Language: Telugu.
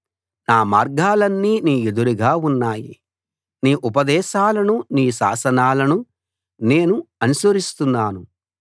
నా మార్గాలన్నీ నీ ఎదురుగా ఉన్నాయి నీ ఉపదేశాలను నీ శాసనాలను నేను అనుసరిస్తున్నాను